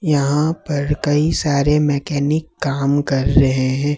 यहां पर कई सारे मैकेनिक काम कर रहे हैं।